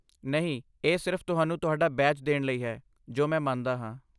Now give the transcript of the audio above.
ਨਹੀਂ, ਇਹ ਸਿਰਫ਼ ਤੁਹਾਨੂੰ ਤੁਹਾਡਾ ਬੈਜ ਦੇਣ ਲਈ ਹੈ ਜੋ ਮੈਂ ਮੰਨਦਾ ਹਾਂ।